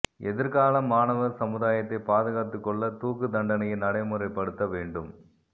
எதிர்கால மாணவ சமுதாயத்தை பாதுகாத்துக் கொள்ள தூக்கு தண்டனையை நடைமுறைப்படுத்த வேண்டும்